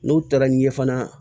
N'u taara n'i ye fana